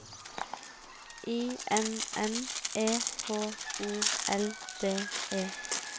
I N N E H O L D E